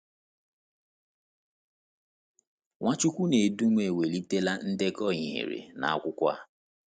Nwachukwunedom ewulitela ndekọ ihere n’akụkụ a.